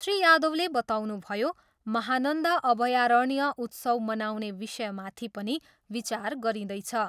श्री यादवले बताउनुभयो, महानन्दा अभयरण्य उत्सव मनाउने विषयमाथि पनि विचार गरिँदैछ।